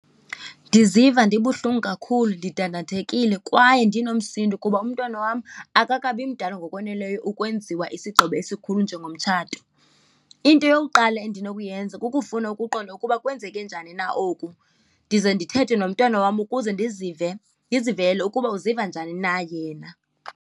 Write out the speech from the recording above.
Ndiziva ndibuhlungu kakhulu, ndidandathekile kwaye ndinomsindo, kuba umntwana wam akakabi mdala ngokoneleyo ukwenziwa isigqibo esikhulu njengomtshato. Into eyokuqala endinokuyenza kukufuna ukuqonda ukuba kwenzeke njani na oku, ndize ndithethe nomntwana wam ukuze ndizive, ndizivele ukuba uziva njani na yena.